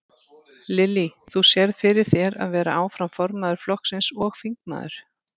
Lillý: Þú sérð fyrir þér að vera áfram formaður flokksins og þingmaður?